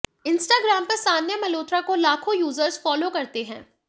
Instagram पर सान्या मल्होत्रा को लाखों यूजर्स फॉलो करते हैं